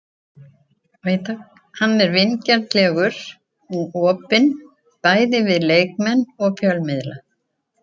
Hann er vingjarnlegur og opinn, bæði við leikmenn og fjölmiðla.